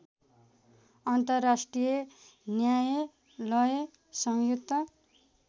अन्तर्राष्ट्रिय न्यायालय संयुक्त